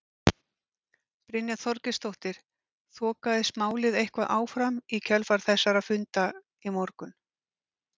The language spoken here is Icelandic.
Brynja Þorgeirsdóttir: Þokaðist málið eitthvað áfram í kjölfar þessara funda í morgun?